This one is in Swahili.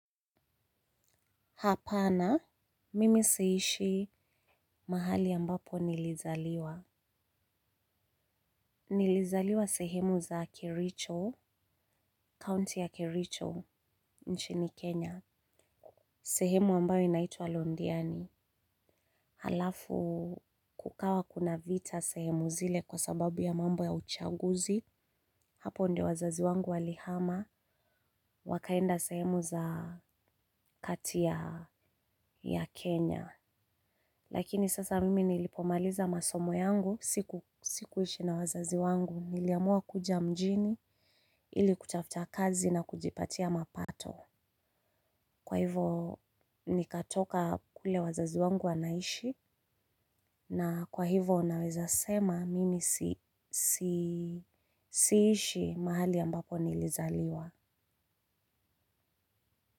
Hapana, mimi suishi mahali ambapo nilizaliwa. Nilizaliwa sehemu za Kericho, county ya Kericho, nchini Kenya. Sehemu ambayo inaitwa Londiani. Halafu kukawa kuna vita sehemu zile kwa sababu ya mambo ya uchaguzi. Hapo ndio wazazi wangu walihama, wakaenda sehemu za kati ya Kenya. Lakini sasa mimi nilipomaliza masomo yangu sikuishi na wazazi wangu niliamua kuja mjini ili kutafta kazi na kujipatia mapato. Kwa hivo nikatoka kule wazazi wangu wanaishi na kwa hivo naweza sema mimi siishi mahali ambapo nilizaliwa.